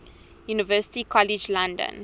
university college london